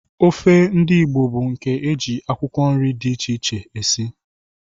Ofe ndị Igbo bụ nke e ji akwụkwọ nri dị iche iche esi